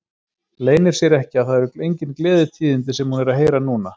Leynir sér ekki að það eru engin gleðitíðindi sem hún er að heyra núna.